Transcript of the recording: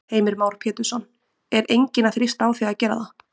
Heimir Már Pétursson: Er enginn að þrýsta á þig að gera það?